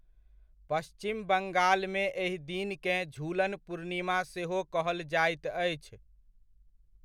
पश्चिम बंगालमे एहि दिनकेँ झूलन पूर्णिमा सेहो कहल जाइत अछि।